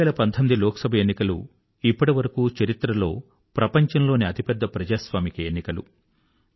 2019 లోక్ సభ ఎన్నికలు ఇప్పటివరకూ చరిత్రలో ప్రపంచంలోని అతిపెద్ద ప్రజాస్వామిక ఎన్నికలు